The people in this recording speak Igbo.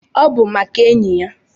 Obu maka enyi ya